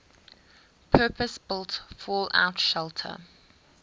purpose built fallout shelter